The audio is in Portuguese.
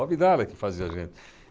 O Abdala que fazia a gente.